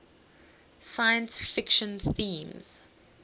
science fiction themes